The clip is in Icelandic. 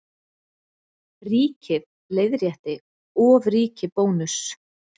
Ríkið leiðrétti ofríki Bónuss